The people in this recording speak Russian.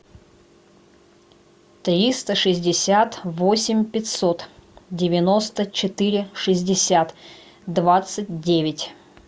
триста шестьдесят восемь пятьсот девяносто четыре шестьдесят двадцать девять